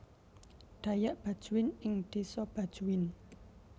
Dayak Bajuin ing desa Bajuin